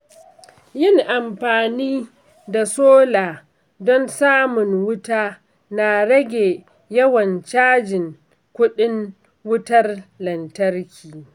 Yin amfani da sola don samun wuta na rage yawan cajin kuɗin wutar lantarki.